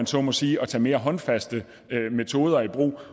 så må sige at tage mere håndfaste metoder i brug